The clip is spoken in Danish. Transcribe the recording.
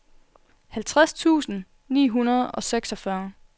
halvtreds tusind ni hundrede og seksogfyrre